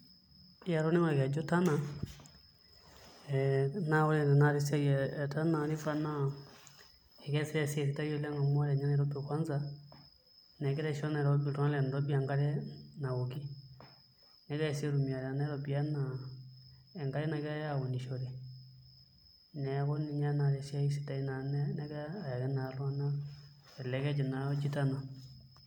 Ee atoning'o orkeju Tana naa ore tanakata esiai e Tana naa ekeesita esiai sidai amu ore ninye Nairobi kwanza egira aisho iltung'anak le Nairobi enkare naoki negirai sii aitumia te Nairobi enaa enkare nagirai aunishore, neeku ninye naa esiai sidai nagira ayaki naa iltung'anak ele keju oji Tana.